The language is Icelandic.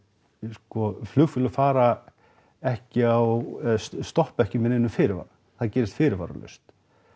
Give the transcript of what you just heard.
sko flugfélög fara ekki á eða stoppa ekki með neinum fyrirvara það gerist fyrirvaralaust